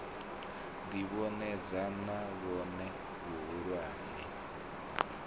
ḓi vhonadza na vhone vhahulwane